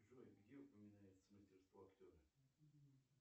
джой где упоминается мастерство актера